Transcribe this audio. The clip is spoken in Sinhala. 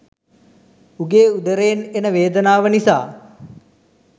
උගේ උදරයෙන් එන වේදනාව නිසා